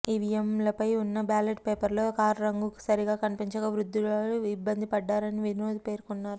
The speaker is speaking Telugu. ఈవీఎంలపై ఉన్న బ్యాలెట్ పేపరులో కారు రంగు సరిగా కనిపించక వృద్దులు ఇబ్బంది పడ్డారని వినోద్ పేర్కొన్నారు